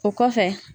O kɔfɛ